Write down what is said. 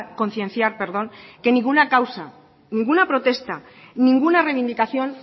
concienciar perdón que ninguna causa ninguna protesta ninguna reivindicación